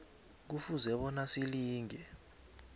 kufuze bona silinge